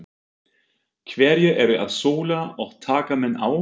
Hverjir eru að sóla og taka menn á?